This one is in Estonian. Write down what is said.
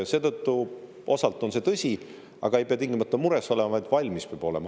Seetõttu osalt on see tõsi, aga ei pea tingimata mures olema, vaid valmis peab olema.